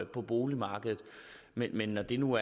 på boligmarkedet men når det nu